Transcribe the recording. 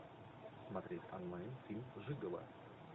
смотреть онлайн фильм жигало